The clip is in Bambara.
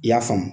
I y'a faamu